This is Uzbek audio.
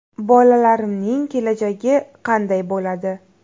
Bolalarimning kelajagi qanday bo‘ladi?